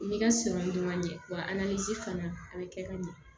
I ka siran dɔn man ɲɛ wa a ni ce fana a bɛ kɛ ka ɲɛ